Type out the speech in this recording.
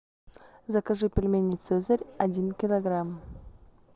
закажи пельмени цезарь один килограмм